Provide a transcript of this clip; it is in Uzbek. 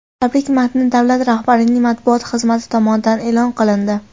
Tabrik matni davlat rahbarining matbuot xizmati tomonidan e’lon qilindi .